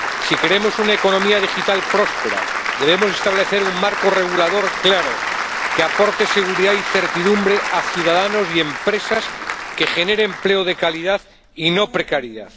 Si queremos una economía digital próspera, debemos establecer un marco regulador claro, que aporte seguridad y certidumbre a ciudadanos y empresas, que genere empleo de calidad y no precariedad.